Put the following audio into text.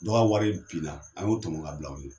Dɔ ka wari binna an y'o tɔmɔ ka bila o ɲɛ.